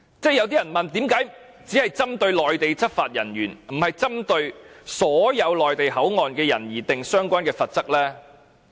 有些人問為何只是針對內地執法人員，而不是針對所有內地口岸區的人而訂定相關罰則？